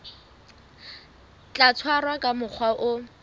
tla tshwarwa ka mokgwa o